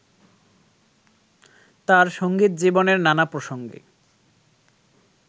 তাঁর সংগীত জীবনের নানা প্রসঙ্গে